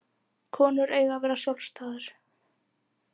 Konur eiga að vera sjálfstæðar.